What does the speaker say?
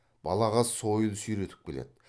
балағаз сойыл сүйретіп келеді